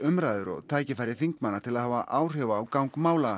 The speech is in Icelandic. umræður og tækifæri þingmanna til að hafa áhrif á gang mála